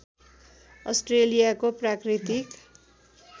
अस्ट्रेलियाको प्राकृतिक